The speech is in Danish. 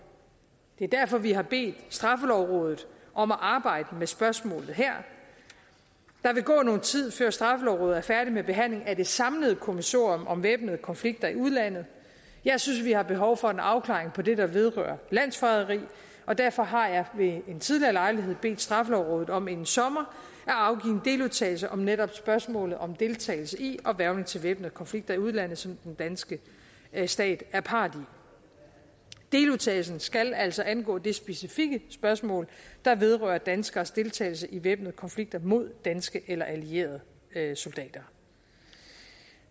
det er derfor vi har bedt straffelovrådet om at arbejde med spørgsmålet her der vil gå noget tid før straffelovrådet er færdig med behandlingen af det samlede kommissorium om væbnede konflikter i udlandet jeg synes vi har behov for en afklaring på det der vedrører landsforræderi og derfor har jeg ved en tidligere lejlighed bedt straffelovrådet om inden sommer at afgive en deludtalelse om netop spørgsmålet om deltagelse i og hvervning til væbnede konflikter i udlandet som den danske stat er part i deludtalelsen skal altså angå det specifikke spørgsmål der vedrører danskeres deltagelse i væbnede konflikter mod danske eller allierede soldater